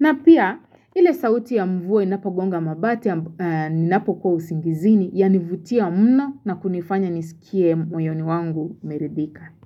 Na pia, ile sauti ya mvua inapogonga mabati ninapokuwa usingizini yanivutia mno na kunifanya nisikie moyoni wangu umeridhika.